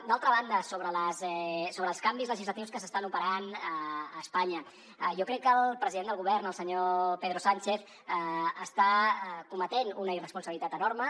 d’altra banda sobre els canvis legislatius que s’estan operant a espanya jo crec que el president del govern el senyor pedro sánchez està cometent una irresponsabilitat enorme